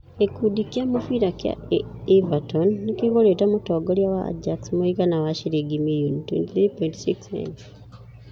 Gĩkundi kĩa mũbira kĩa Everton nĩ kĩgũrĩte mũtongoria wa Ajax mũigana wa ciringi mirioni £23.6m